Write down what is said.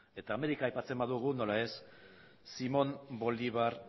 eta amerika aipatzen badugu nola ez simón bolivar